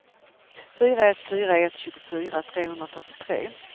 fyra ett fyra ett tjugofyra trehundrafyrtiotre